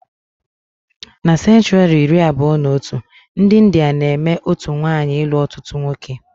Na senchuri iri abụọ na otu, ndi India na-eme otú nwaanyị ilu ọtụtụ nwoke